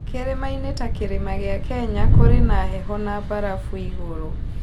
Kĩrĩma-inĩ ta kĩrĩma gĩa Kenya, kũrĩ na heho na mbarabu igũrũ.